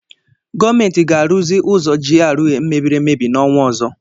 Gọọmenti ga-arụzi ụzọ GRA mebiri emebi n'ọnwa ọzọ.